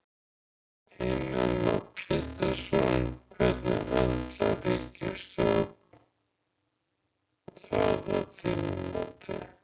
Heimir Már Pétursson: Hvernig höndlar ríkisstjórnin það að þínu mati?